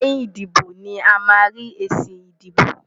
Lẹ́yìn ìdìbò ni a máa ń rí èsì ìbò.